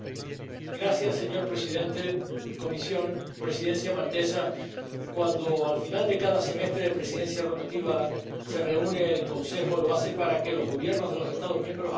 Señor presidente, Comisión, Presidencia maltesa, cuando al final de cada semestre de presidencia rotativa se reúne el Consejo, lo hace para que los Gobiernos de los Estados miembros hablen entre ellos